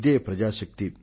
ఇదే ప్రజా శక్తి